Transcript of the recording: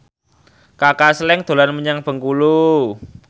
Kaka Slank dolan menyang Bengkulu